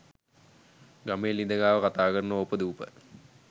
ගමේ ලිද ගාව කතාකරන ඕපදූප